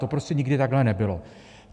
To prostě nikdy takhle nebylo.